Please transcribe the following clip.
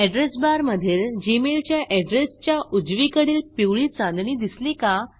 address बारमधील Gmail च्या address च्या उजवीकडील पिवळी चांदणी दिसली का